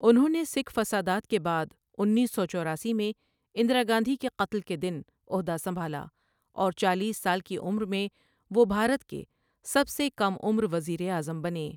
انہوں نے سکھ فسادات کے بعد انیس سو چوراسی میں اندرا گاندھی کے قتل کے دن عہدہ سنبھالا اور چالیس سال کی عمر میں وہ بھارت کے سب سے کم عمر وزیر اعظم بنے۔